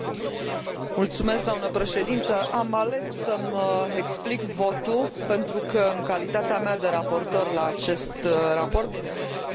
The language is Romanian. Am ales să îmi explic votul, pentru că, în calitatea mea de raportor la acest raport m am abținut în a l vota.